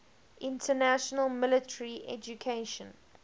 international military education